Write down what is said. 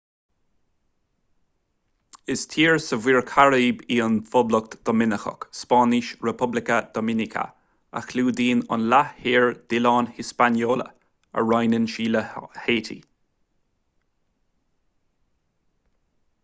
is tír sa mhuir chairib í an phoblacht dhoiminiceach spáinnis: república dominicana a chlúdaíonn an leath thoir d’oileán hispaniola a roinneann sí le háití